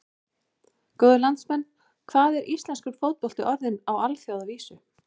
Góðir landsmenn, hvað er íslenskur fótbolti orðinn á alþjóðavísu?